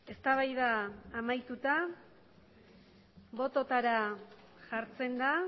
eztabaida amaituta bototara jartzen da